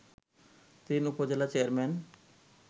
তিন উপজেলা চেয়ারম্যান